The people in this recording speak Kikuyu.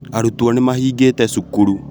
Arutwo nĩmahingĩte cukuru